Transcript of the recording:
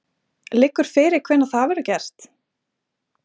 Liggur fyrir hvenær það verður gert?